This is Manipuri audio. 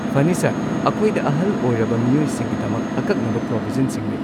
ꯐꯅꯤ ꯁꯔ꯫ ꯑꯈꯣꯏꯗ ꯑꯍꯜ ꯑꯣꯏꯔꯕ ꯃꯤꯑꯣꯏꯁꯤꯡꯒꯤꯗꯃꯛ ꯑꯀꯛꯅꯕ ꯄ꯭ꯔꯣꯕꯤꯖꯟꯁꯤꯡ ꯂꯩ꯫